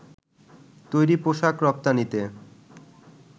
তৈরি পোশাক রপ্তানিতে